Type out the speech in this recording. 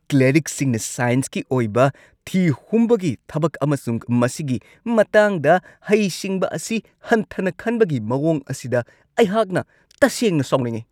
ꯀ꯭ꯂꯦꯔꯤꯛꯁꯤꯡꯅ ꯁꯥꯏꯟꯁꯀꯤ ꯑꯣꯏꯕ ꯊꯤꯍꯨꯝꯕꯒꯤ ꯊꯕꯛ ꯑꯃꯁꯨꯡ ꯃꯁꯤꯒꯤ ꯃꯇꯥꯡꯗ ꯍꯩꯁꯤꯡꯕ ꯑꯁꯤ ꯍꯟꯊꯅ ꯈꯟꯕꯒꯤ ꯃꯋꯣꯡ ꯑꯁꯤꯗ ꯑꯩꯍꯥꯛꯅ ꯇꯁꯦꯡꯅ ꯁꯥꯎꯅꯤꯡꯉꯤ ꯫